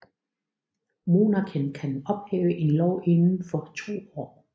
Monarken kan ophæve en lov inden for to år